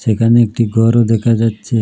এখানে একটি ঘরও দেখা যাচ্ছে।